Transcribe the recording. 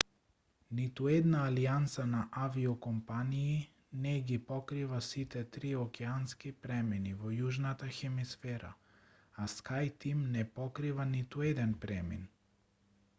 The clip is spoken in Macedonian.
ниту една алијанса на авиокомпании не ги покрива сите три океански премини во јужната хемисфера а скајтим не покрива ниту еден премин